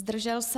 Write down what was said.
Zdržel se?